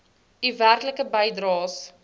u werklike bydraes